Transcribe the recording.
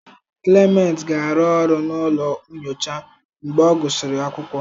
Clement ga-arụ ọrụ n'ụlọ nyocha mgbe ọ gụsịrị akwụkwọ.